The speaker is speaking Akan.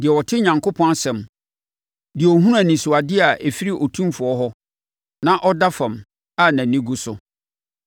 deɛ ɔte Onyankopɔn asɛm; deɛ ɔhunu anisoadeɛ a ɛfiri Otumfoɔ hɔ; na ɔda fam, a nʼani gu so: